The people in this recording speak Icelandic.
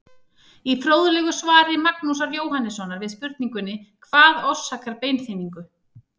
Í fróðlegu svari Magnúsar Jóhannssonar við spurningunni Hvað orsakar beinþynningu?